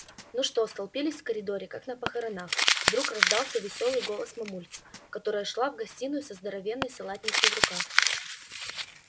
ну что столпились в коридоре как на похоронах вдруг раздался весёлый голос мамульки которая шла в гостиную со здоровенной салатницей в руках